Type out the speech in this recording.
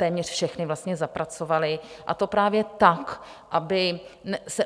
Téměř všechny zapracovali, a to právě tak, aby se